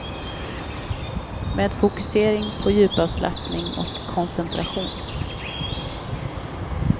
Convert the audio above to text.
Med fokusering på djupavslappning och koncentration.